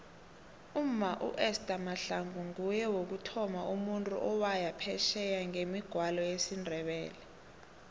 umma uester mahlangu nguye wokuthoma umuntu owaya phesheye ngemigwalo yesindebele